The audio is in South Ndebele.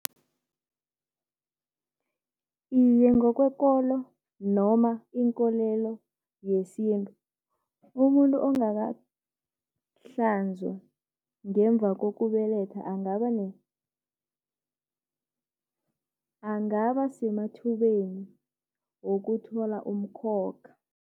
Iye ngokwekolo noma inkolelo yesintu, umuntu ongakahlanzwa ngemva kokubeletha angaba , angaba semathubeni wokuthwala umkhokha.